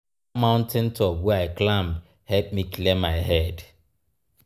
na dat mountain top wey i climb help me clear my head.